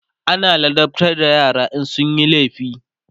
ana ladabtar da yara in sunyi laifi